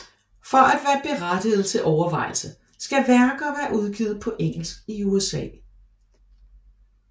For at være berettiget til overvejelse skal værker være udgivet på engelsk i USA